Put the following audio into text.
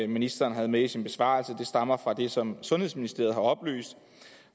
ministeren havde med i sin besvarelse stammer fra det som sundhedsministeriet har oplyst